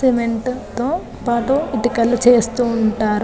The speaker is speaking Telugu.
సిమెంట్ తో పాటు ఇటుకలు చేస్తూ ఉంటారు.